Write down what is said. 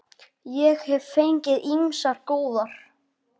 Ég hef fengið ýmsar góðar.